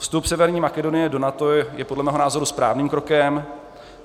Vstup Severní Makedonie do NATO je podle mého názoru správným krokem.